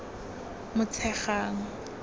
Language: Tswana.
motshegang